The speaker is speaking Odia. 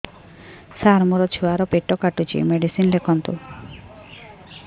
ସାର ମୋର ଛୁଆ ର ପେଟ କାଟୁଚି ମେଡିସିନ ଲେଖନ୍ତୁ